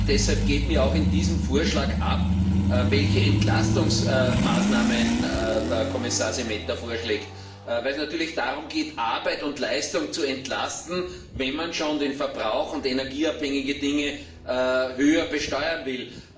Deshalb geht mir auch in diesem Vorschlag ab, welche Entlastungsmaßnahmen Kommissar Šemeta im Auge hat, weil es natürlich darum geht, Arbeit und Leistung zu entlasten, wenn man schon den Verbrauch und energieabhängige Dinge höher besteuern will.